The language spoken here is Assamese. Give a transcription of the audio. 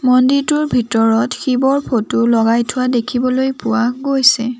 মন্দিৰটোৰ ভিতৰত শিৱৰ ফটো লগাই থোৱা দেখিবলৈ পোৱা গৈছে।